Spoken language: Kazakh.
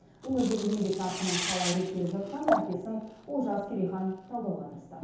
өңірдегі еңбек нарқының қалай реттеліп жатқанын әріптесім олжас керейхан талдауға тырысты